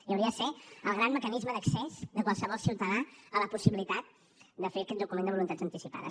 i hauria de ser el gran mecanisme d’accés de qualsevol ciutadà a la possibilitat de fer aquest document de voluntats anticipades